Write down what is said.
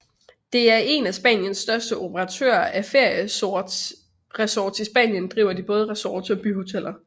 Det er en af Spaniens største operatører af ferieresorts I Spanien driver de både resorts og byhoteller